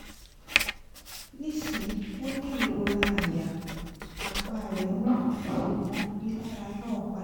nisin o ni irora aya apa re wu ṣugbọn rilara naa pada